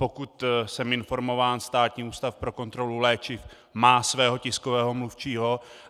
Pokud jsem informován, Státní ústav pro kontrolu léčiv má svého tiskového mluvčího.